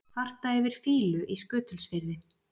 Kvarta yfir fýlu í Skutulsfirði